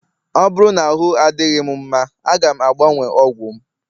ọ bụrụ na ahụ adịghị m mma, a ga m agbanwe ọgwụ m